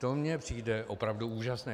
To mně přijde opravdu úžasné.